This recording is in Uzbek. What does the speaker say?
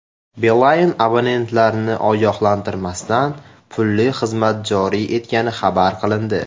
Beeline abonentlarni ogohlantirmasdan pulli xizmat joriy etgani xabar qilindi.